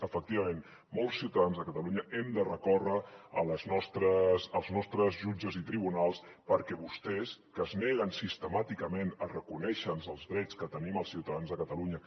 efectivament molts ciutadans de catalunya hem de recórrer als nostres jutges i tribunals perquè vostès que es neguen sistemàticament a reconèixer els drets que tenim els ciutadans de catalunya